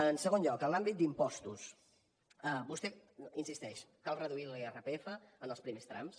en segon lloc en l’àmbit d’impostos vostè insisteix cal reduir l’irpf en els primers trams